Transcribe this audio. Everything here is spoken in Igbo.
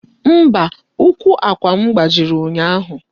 Mba, ụkwụ àkwà m gbajiri ụnyaahụ.